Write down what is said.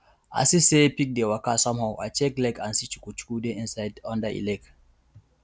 i see say pig dey waka somehow i check leg and see chukuchuku dey inside under e leg